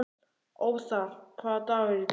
Othar, hvaða dagur er í dag?